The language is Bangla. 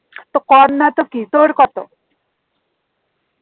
তা কম না তো কি তোর কত?